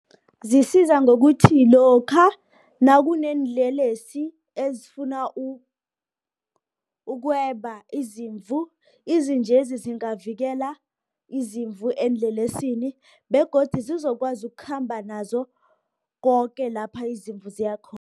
Ziyisiza ngokuthi lokha, nakuneenlelesi ezifuna ukweba izimvu, izinjezi zingavikela izimvu eenlelesini, begodu sizokwazi ukukhamba nazo, koke lapha izimvu ziya khona.